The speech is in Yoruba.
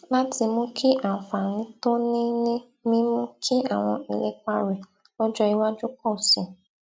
láti mú kí àǹfààní tó ní ní mímú kí àwọn ìlépa rè lójó iwájú pò sí i